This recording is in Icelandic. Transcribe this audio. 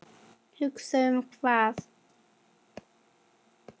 Hugsa um hvað?